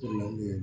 n'o ye